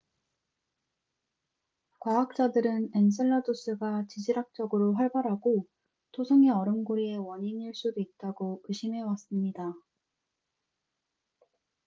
과학자들은 엔셀라두스가 지질학적으로 활발하고 토성의 얼음 고리의 원인일 수도 있다고 의심해왔습니다